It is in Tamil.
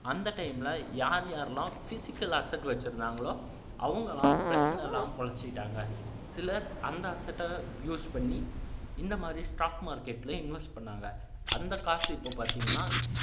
அந்த time ல யார் யாரெல்லாம் physical asset வச்சிருந்தாங்களோ அவங்கெல்லாம் பிரச்சனை இல்லாம பிழைச்சிகிட்டாங்க சிலர் அந்த asset ஐ use பண்ணி இந்த மாதிரி stock market ல invest பண்ணாங்க அந்த காசு இப்போ பாத்தீங்கன்னா